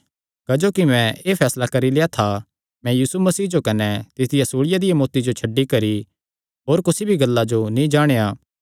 क्जोकि मैं एह़ फैसला करी लेआ था कि मैं यीशु मसीह जो कने तिसदिया सूल़िया दिया मौत्ती जो छड्डी नैं होर कुसी भी गल्ला जो नीं जाणेया